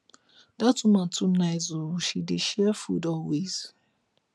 dat woman too nice oo she dey share food always